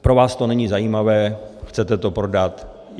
Pro vás to není zajímavé, chcete to prodat.